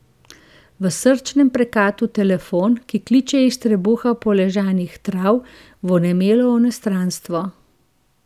V srčnem prekatu telefon, ki kliče iz trebuha poležanih trav, v onemelo onostranstvo...